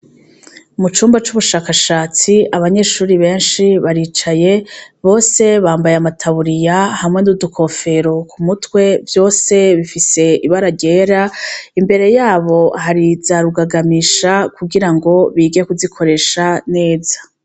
Mucumba c'ubushakashatsi abanyeshure benshi baricaye bose bambaye amataburiya, hamwe n'udukofero kumitwe vyose bifise yera, imbere yabo hari za rugagamisha kugirango bige kuzikoresha neza.